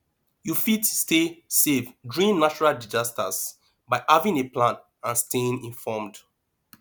you fit stay safe during natural disasters by having a plan and staying informed